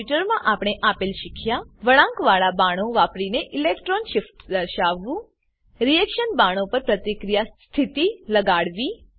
આ ટ્યુટોરીયલમાં આપણે આપેલ શીખ્યા વળાંકવાળા બાણો વાપરીને ઇલેક્ટ્રોન શિફ્ટ દર્શાવવું રીએક્શન બાણો પર પ્રતિક્રિયા સ્થિતિ લગાડવી